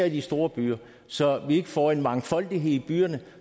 i de store byer så vi ikke får en mangfoldighed i byerne